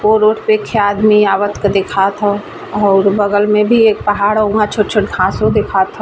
और रोड पर एक खे आदमी आवत दिखा और बगल में भी एक पहाड़ हो उहा घासों दिखा ह |